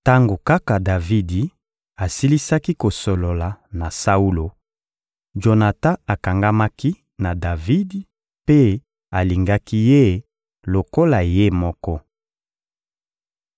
Tango kaka Davidi asilisaki kosolola na Saulo, Jonatan akangamaki na Davidi mpe alingaki ye lokola ye moko.